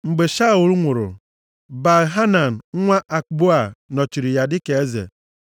Mgbe Shaul nwụrụ, Baal-Hanan nwa Akboa nọchiri ya dịka eze.